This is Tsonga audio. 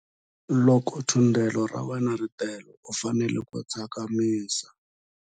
Loko thundelo ra wena ri tele u fanele ku tsakamisa.